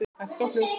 Hægt og hljótt.